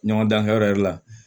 Ɲɔgɔn dan kɛyɔrɔ yɛrɛ la